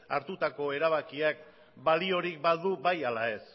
hartutako erabakiak baliorik badu bai ala ez